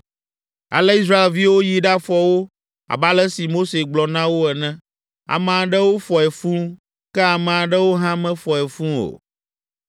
Ale Israelviwo yi ɖafɔ wo abe ale si Mose gblɔ na wo ene; ame aɖewo fɔe fũu, ke ame aɖewo hã mefɔe fũu o.